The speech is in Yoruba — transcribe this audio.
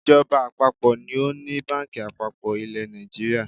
Ìjọba àpapọ̀ ni ó ni báǹkì àpapọ̀ ilẹ̀ Nàìjíríà.